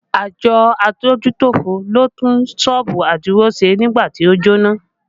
Àjọ adójútòfò ló tún sọ́ọ̀bù Adio ṣe nígbà tí ó jóná